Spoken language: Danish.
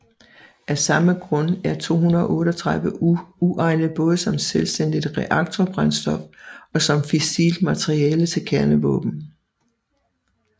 Af samme grund er 238U uegnet både som selvstændigt reaktorbrændstof og som fissilt materiale til kernevåben